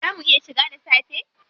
Zaa mu iya shiga da safe?